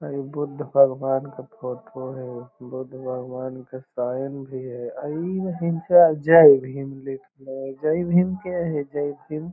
अ इ बुद्ध भगवन के फोटो हई | बुद्ध भगवान के शाइन भी हई | इ हिनखरा जय हिन्द लिखले है जय हिन्द के हय जय हिन्द --